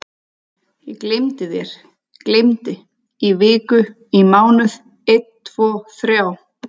Ég gleymdi þér, gleymdi, í viku, í mánuð, einn tvo þrjá.